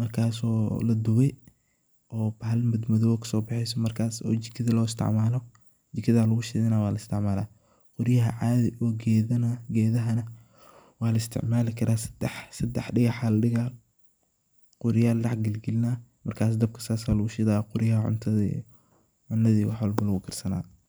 markaso ladube oo bahalo madmadow ayaa kasobexeso markas oo jikada loo isticmalo , jikada lagushidana oo waa laisticmalaa. Qoryaha adhi oo gedaa, gedhahana waa la isticmali karaa sedex dagaha laa digaa qoryaa la deh galgalina marka dabka sas aa lagu shidaa qoryaha cunadha iyo wax walbo lagu karsanaya.